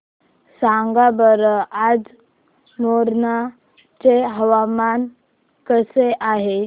सांगा बरं आज मोरेना चे हवामान कसे आहे